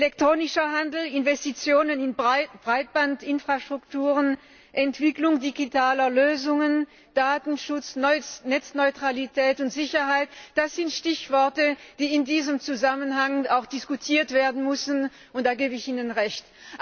Elektronischer Handel, Investitionen in Breitband Infrastrukturen, Entwicklung digitaler Lösungen, Datenschutz, Netzneutralität und sicherheit das sind Stichworte, die in diesem Zusammenhang auch diskutiert werden müssen, da gebe ich Ihnen Recht.